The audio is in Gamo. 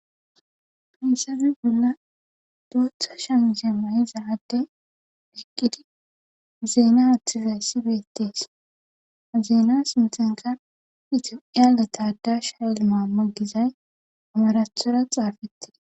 Hayssappe bolla bootha shamize mayidda adde shiqqidi zeena aththida issi beettees .Zeena sinthanika ethiopiane tadashi hayil mama gizay amarathora xaafettida.